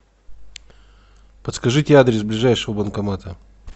подскажите адрес ближайшего банкомата